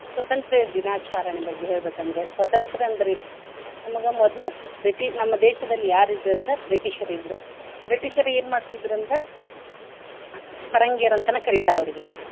ಸ್ವತಂತ್ರ್ಯ ದಿನಾಚಾರಣೆ ಬಗ್ಗೆ ಹೇಳ್ಬೆಕ ಅಂದ್ರೆ ಸ್ವತಂತ್ರ ಅಂದ್ರ ಏನು? ನಮ್ಗ ಮೊದ್ಲ Bri~ ನಮ್ಮ ದೇಶದಲ್ಲಿ ಯಾರ್ ಇದ್ರ ಅಂದ್ರ British ರು ಇದ್ರ. British ರು ಏನ್ ಮಾಡ್ತಿದ್ರ ಅಂದ್ರ ಪರಂಗಿಯರ ಅಂತನ ಕರಿತಾರ ಅವ್ರಿಗೆ.